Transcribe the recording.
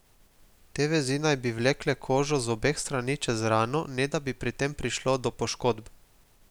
Te vezi naj bi vlekle kožo z obeh strani čez rano, ne da bi pri tem prišlo do poškodb.